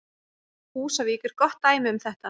Húsavík er gott dæmi um þetta.